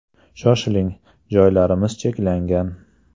Shoshiling, joylarimiz cheklangan!